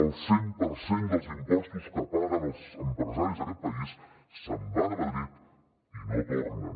el cent per cent dels impostos que paguen els empresaris d’aquest país se’n van a madrid i no tornen